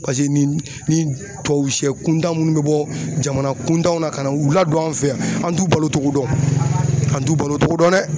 paseke ni tubabu sɛ kuntan munnu bɛ bɔ jamana kuntanw na ka na u ladon an fɛ yan, an t'u balo togo dɔn, an t'u balo togo dɔn dɛ